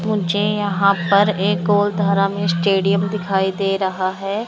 मुझे यहां पर एक ओर धारा में स्टेडियम दिखाई दे रहा है।